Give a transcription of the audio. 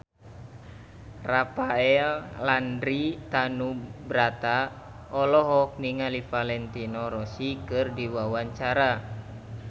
Rafael Landry Tanubrata olohok ningali Valentino Rossi keur diwawancara